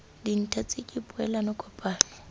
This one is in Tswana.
dintha tse ke poelano kopano